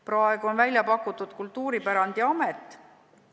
Praegu on välja pakutud Kultuuripärandiamet.